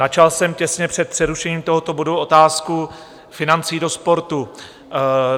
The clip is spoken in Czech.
Načal jsem těsně před přerušením tohoto bodu otázku financí do sportu.